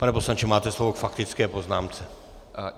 Pane poslanče, máte slovo k faktické poznámce.